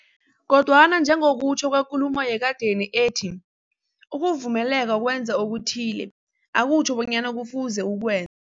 Kodwana njengokutjho kwekulumo yekadeni ethi, ukuvumeleka ukwenza okuthile, akutjho bonyana kufuze ukwe